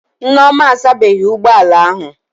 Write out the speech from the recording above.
Nneoma asabeghị ụgbọ ala ahụ